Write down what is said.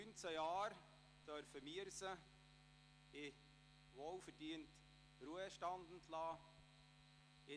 Nach 19 Jahren dürfen wir sie in den wohlverdienten Ruhestand entlassen.